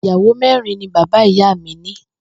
Ìyàwó mé̩rin ni bàbá ìyá mi ní